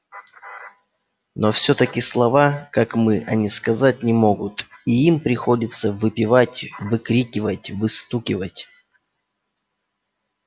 но всё-таки слова как мы они сказать не могут и им приходится выпевать выкрикивать выстукивать